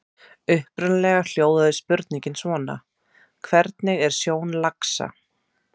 Upprunalega hljóðaði spurningin svona: Hvernig er sjón laxa?